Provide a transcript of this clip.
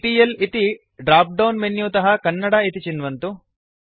CTL इति dropdown menu तः कन्नडा इति चिन्वन्तु